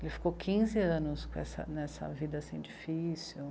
Ele ficou quinze anos nessa, nessa vida difícil.